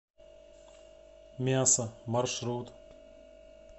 мясо маршрут